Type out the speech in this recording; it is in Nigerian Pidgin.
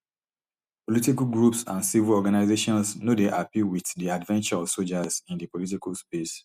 political groups and civil organisations no dey happy wit di adventure of sojas in di political space